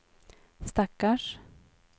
stackars